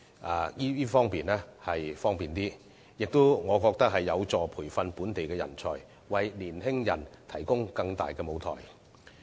我覺得這個做法亦有助培訓本地人才，為年青人提供更大的舞台。